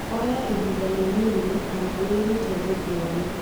Oya ihinda rĩnini kana wĩrute rũthiomi "